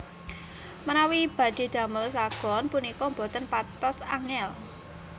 Menawi badhe damel sagon punika boten patos angel